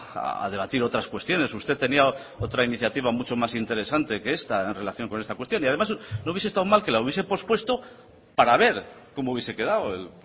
a debatir otras cuestiones usted tenía otra iniciativa mucho más interesante que esta en relación con esta cuestión y además no hubiese estado mal que la hubiese pospuesto para ver cómo hubiese quedado el